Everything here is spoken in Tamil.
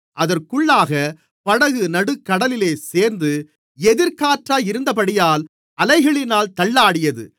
அதற்குள்ளாகப் படகு நடுக்கடலிலே சேர்ந்து எதிர்க்காற்றாயிருந்தபடியால் அலைகளினால் தள்ளாடியது